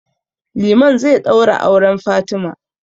Liman zai ɗaura auren Fatima.